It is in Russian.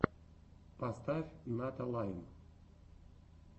поставь ната лайм